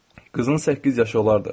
Qızın səkkiz yaşı olardı.